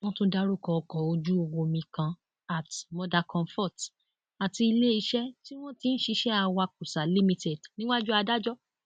wọn tún dárúkọ ọkọ ojúomi kan at mother comfort àti iléeṣẹ tí wọn ti ń ṣiṣẹ awakósa limited níwájú adájọ